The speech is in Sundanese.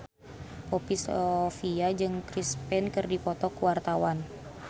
Poppy Sovia jeung Chris Pane keur dipoto ku wartawan